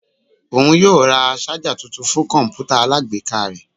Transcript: Oun yoo ra ṣaja tuntun fun kọǹpútà alágbèéká rẹ.